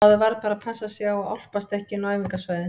Maður varð bara að passa sig á að álpast ekki inn á æfingasvæðin.